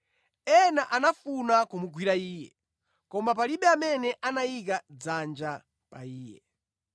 Ena anafuna kumugwira Iye, koma palibe amene anayika dzanja pa Iye.